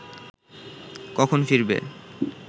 কখন ফিরবে